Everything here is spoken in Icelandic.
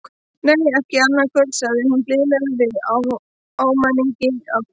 Nei, ekki annað kvöld, sagði hún blíðlega með ávæningi af kvíða.